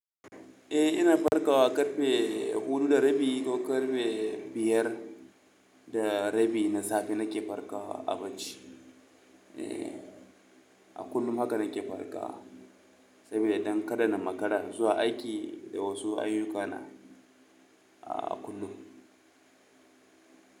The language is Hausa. Eh ina farkawa karfe hudu da rabi ko karfe biyar da rabi na safe nake farkawa a bacci. Eh, a kullum haka nake farkawa saboda don kada na makara zuwa aiki da wasu ayyukana a kullum.